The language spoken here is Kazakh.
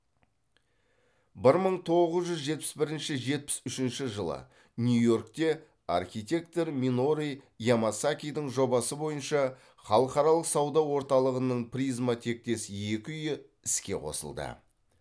бір мың тоғыз жүз жетпіс бірінші жетпіс үшінші жылы нью йоркте архитектор минору ямасакидің жобасы бойынша халықаралық сауда орталығының призма тектес екі үйі іске қосылды